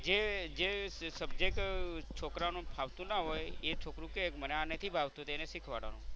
જે subject છોકરાને ફાવતું ના હોય તો એ છોકરું કે મને આ નથી ફાવતું તો એને આ શિખવાડવાનું.